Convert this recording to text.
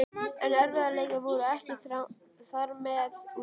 En erfiðleikarnir voru ekki þarmeð úr sögunni.